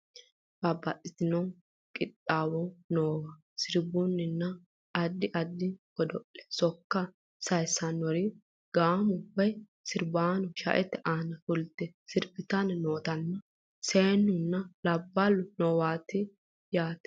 babbaxxitino qixxaawo noowa sirbunninna addi addi godo'lenni sokka sayessannori gaamo woye sirbaano sha"ete aana fulte sirbitanni nootanna seennunna labballu noowati yaate